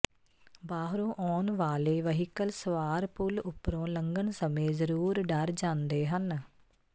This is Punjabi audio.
ਬਾਹਰੋਂ ਆਉਣ ਵਾਲੇ ਵਹੀਕਲ ਸਵਾਰ ਪੁਲ ਉਪਰੋਂ ਲੰਘਣ ਸਮੇਂ ਜ਼ਰੂਰ ਡਰ ਜਾਂਦੇ ਹਨ